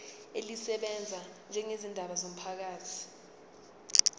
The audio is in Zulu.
elisebenza ngezindaba zomphakathi